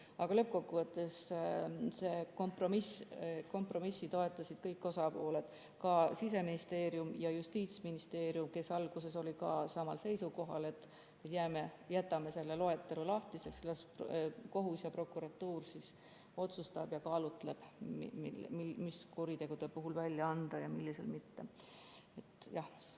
Aga lõppkokkuvõttes toetasid kompromissi kõik osapooled, ka Siseministeerium ja Justiitsministeerium, kes alguses olid ka samal seisukohal, et jätame selle loetelu lahtiseks, las kohus ja prokuratuur otsustab ja kaalutleb, mis kuritegude puhul luba välja anda ja milliste puhul mitte.